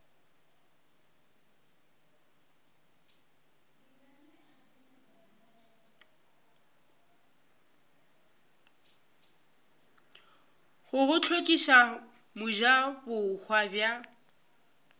go go hlokiša mojabohwa bja